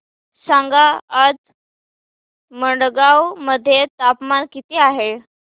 सांगा आज मडगाव मध्ये तापमान किती आहे